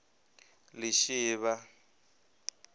lishivha